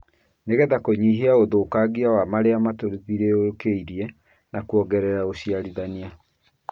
nĩ getha kũnyihia ũthũkangia wa marĩa matũthiũrũrũkĩirie na kũongerera ũciarithania.